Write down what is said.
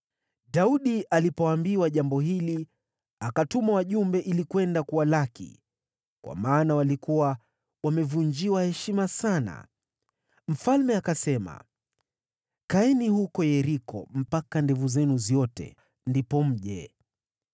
Daudi alipoambiwa jambo hili, akatuma wajumbe ili kwenda kuwalaki, kwa maana walikuwa wamevunjiwa heshima sana. Mfalme akasema, “Kaeni huko Yeriko mpaka ndevu zenu ziote ndipo mje.”